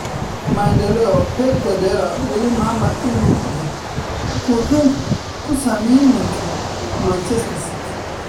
(Maendeleo) Maendeleo Pep Guardiola weli maama inuu yeh ku wuxun kusayninka Manchester City.